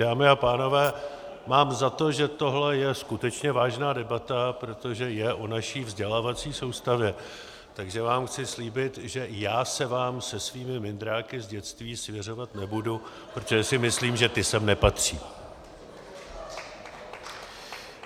Dámy a pánové, mám za to, že tohle je skutečně vážná debata, protože je o naší vzdělávací soustavě, takže vám chci slíbit, že já se vám se svými mindráky z dětství svěřovat nebudu, protože si myslím, že ty sem nepatří.